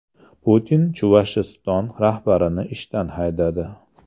Putin Chuvashiston rahbarini ishdan haydadi.